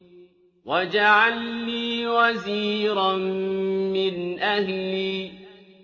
وَاجْعَل لِّي وَزِيرًا مِّنْ أَهْلِي